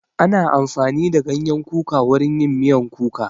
Ana amfani da ganyen kuka wurin yin miyan kuka